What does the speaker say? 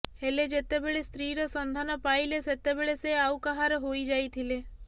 ହେଲେ ଯେତେବେଳେ ସ୍ତ୍ରୀର ସନ୍ଧାନ ପାଇଲେ ସେତେବେଳେ ସେ ଆଉ କାହାର ହୋଇ ଯାଇଥିଲେ